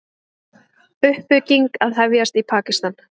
Uppbygging að hefjast í Pakistan